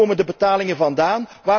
Waar komen de betalingen vandaan?